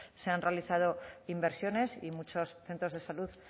se han realizado inversiones y muchos centros de salud